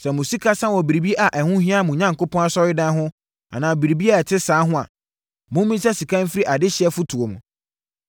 Sɛ mo sika sa wɔ biribi a ɛho hia mo Onyankopɔn asɔredan ho anaa biribi a ɛte saa ho a, mommisa sika mfiri adehyeɛ fotoɔ mu.